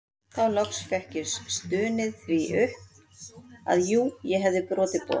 Þá loks fékk ég stunið því upp að jú ég hefði brotið boð